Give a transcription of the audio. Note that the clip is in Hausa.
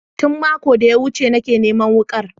Tun makon da ya wuce nake neman wukar